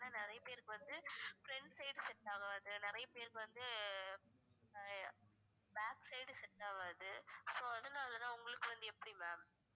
ஏன்னா நிறைய பேருக்கு வந்து front side set ஆகாது நிறைய பேருக்கு வந்து ஆஹ் back side set ஆகாது so அதனாலதான் உங்களுக்கு வந்து எப்படி ma'am